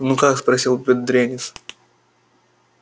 ну как спросил бедренец